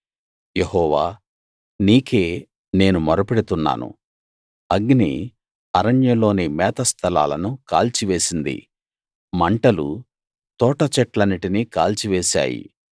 యెహోవా నీకే నేను మొరపెడుతున్నాను అగ్ని అరణ్యంలోని మేతస్థలాలను కాల్చి వేసింది మంటలు తోటచెట్లన్నిటినీ కాల్చివేశాయి